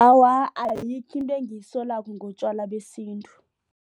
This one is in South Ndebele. Awa, ayikho into engiyisolako ngotjwala besintu.